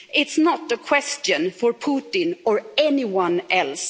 it is not a question for Putin or anyone else.